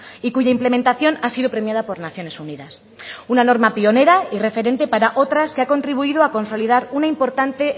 y cuya implementación ha sido premiada por naciones unidas una norma pionera y referente para otras que ha contribuido a consolidar una importante